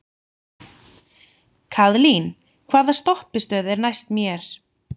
Kaðlín, hvaða stoppistöð er næst mér?